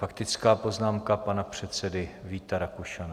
Faktická poznámka pana předsedy Víta Rakušana.